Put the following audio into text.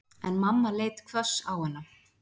En mamma leit hvöss á hana.